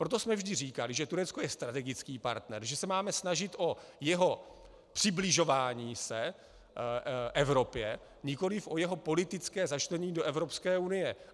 Proto jsme vždy říkali, že Turecko je strategický partner, že se máme snažit o jeho přibližování se Evropě, nikoliv o jeho politické začlenění do Evropské unie.